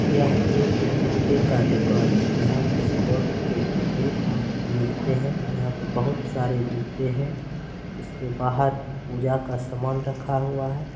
यह एक जूते का दुकान हैं। यहाँ स्पोर्ट के जूते मिलते हैं। यहां पर बहुत सारे जूते हैं। उसके बाहर पूजा का सामान रखा हुआ हैं।